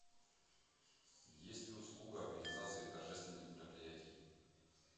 есть ли услуга организации торжественных мероприятий